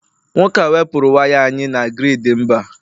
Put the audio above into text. nwoke a wepuru waya anyị na grid mba